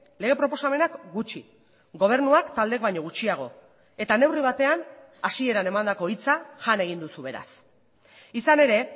lege proposamenak gutxi gobernuak taldeek baino gutxiago eta neurri batean hasieran emandako hitza jan egin duzu beraz izan ere